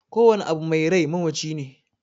Kowane abu mai rai mamaci ne